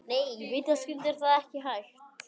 Nei, vitaskuld er það ekki hægt.